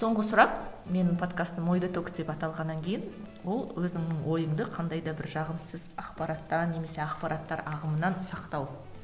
соңғы сұрақ менің подкастым ой детокс деп аталғаннан кейін бұл өзіңнің ойыңды қандай да бір жағымсыз ақпараттан немесе ақпараттар ағымынан сақтау